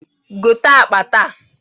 Gote akpa taa!